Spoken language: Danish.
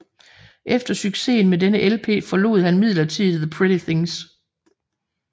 Efter succesen med denne LP forlod han midlertidigt The Pretty Things